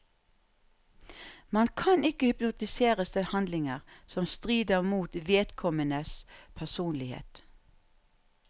Man kan ikke hypnotiseres til handlinger som strider mot vedkommendes personlighet.